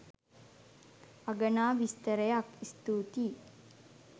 අගනා විස්තරයක්. ස්තූතියි.